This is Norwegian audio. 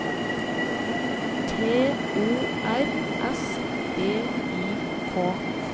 T O R S V I K